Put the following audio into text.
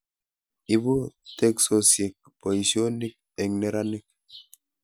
Ibu teksosiek boisionik eng neranik